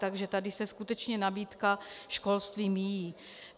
Takže tady se skutečně nabídka školství míjí.